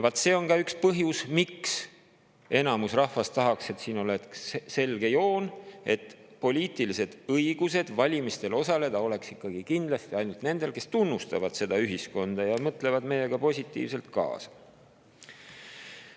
See on ka üks põhjus, miks enamus rahvast tahaks, et siin oleks selge joon, et poliitiline õigus valimistel osaleda oleks kindlasti ainult nendel, kes tunnustavad seda ühiskonda ja mõtlevad meiega positiivselt kaasa.